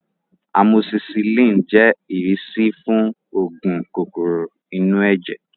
Amosisilin jẹ́ ìrísí fún oògùn kòkòrò inú ẹ̀jẹ̀